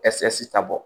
ɛsike ta bɔ